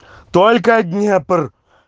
только днепр